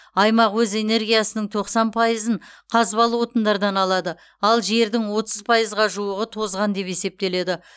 аймақ өз энергиясының тоқсан пайызын қазбалы отындардан алады ал жердің отыз пайызға жуығы тозған деп есептеледі